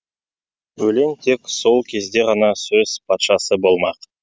өлең тек сол кезде ғана сөз патшасы болмақ